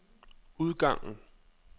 udgangen